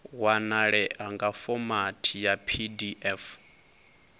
wanalea nga fomathi ya pdf